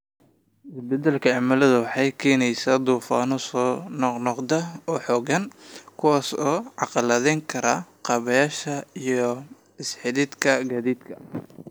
Isbeddelka cimiladu waxay keenaysaa duufaano soo noqnoqda oo xoog badan, kuwaas oo carqaladayn kara kaabayaasha iyo isku-xidhka gaadiidka.